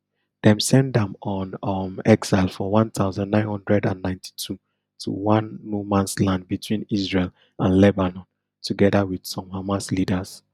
dem send am on um exile for one thousand, nine hundred and ninety-two to one nomansland between israel and lebanon togeda wit some hamas leaders